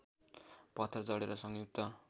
पत्थर जडेर संयुक्त